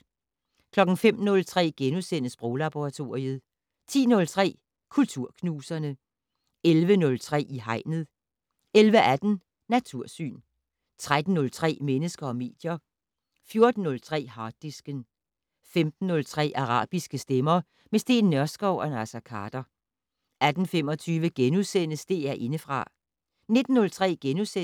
05:03: Sproglaboratoriet * 10:03: Kulturknuserne 11:03: I Hegnet 11:18: Natursyn 13:03: Mennesker og medier 14:03: Harddisken 15:03: Arabiske stemmer - med Steen Nørskov og Naser Khader 18:25: DR Indefra *